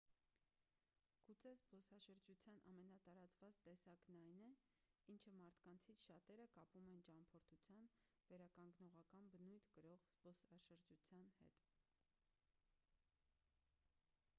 գուցե զբոսաշրջության ամենատարածված տեսակն այն է ինչը մարդկանցից շատերը կապում են ճամփորդության վերականգնողական բնույթ կրող զբոսաշրջության հետ